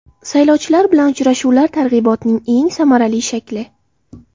Saylovchilar bilan uchrashuvlar targ‘ibotning eng samarali shakli.